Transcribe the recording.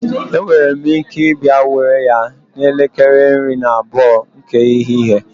Enwere m ike ịbịa were ya n'elekere iri na abụọ nke ehihie